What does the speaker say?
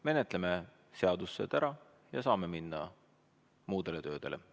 Menetleme seadused ära ja saame minna muudele töödele.